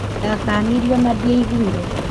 Ndakanirio na ndĩaiguire